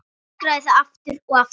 Öskraði það aftur og aftur.